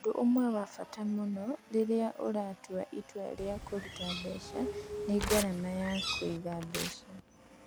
Ũndũ ũmwe wa bata mũno rĩrĩa ũratua itua rĩa kũruta mbeca nĩ ngarama ya kũiga mbeca.